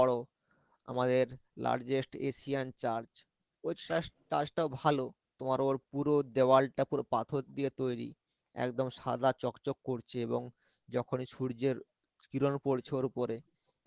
বড় আমাদের largest asian church ওই church টাও ভালো তোমার আবার পুরো দেওয়ালটা পুরো পাথর দিয়ে তৈরি একদম সাদা চকচক করছে এবং যখন সূর্যের কিরণ পরছে ওর উপরে